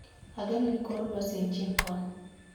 Ageno ni kor lwasi en chieng' kono